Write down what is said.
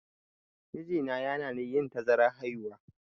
Mijina ya hanani yin tazarar haihuwa.